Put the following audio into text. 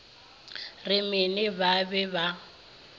ye mene ba be ba